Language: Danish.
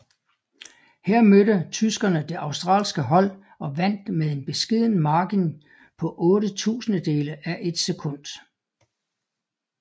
Her mødte tyskerne det australske hold og vandt med en beskeden margen på otte tusindedele af et sekund